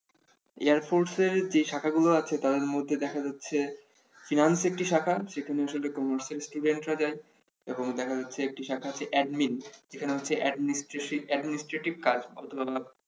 air force যে শাখা গুলো আছে তাদের মধ্যে দেখা যাচ্ছে finance একটি শাখা সেখানে আসলে commerce student রা যায় এবং দেখা যাচ্ছে একটি শাখা আছে admin, এখানে হচ্ছে adminastrative কাজ করা হয়তো